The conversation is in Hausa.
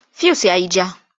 Fuyus ya yi ja.